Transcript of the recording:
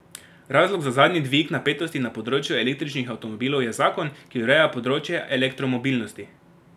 Razlog za zadnji dvig napetosti na področju električnih avtomobilov je zakon, ki ureja področje elektromobilnosti.